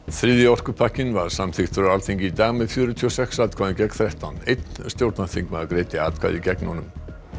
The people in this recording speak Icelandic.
þriðji orkupakkinn var samþykktur á Alþingi í dag með fjörutíu og sex atkvæðum gegn þrettán einn stjórnarþingmaður greiddi atkvæði gegn honum